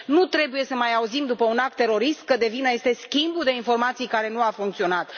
Nu trebuie să mai auzim, după un act terorist, că de vină este schimbul de informații care nu a funcționat.